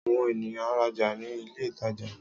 Àwon ènìyán ń rajà ní ilé ìtajà